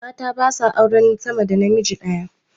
Mata ba sa auren sama da namiji daya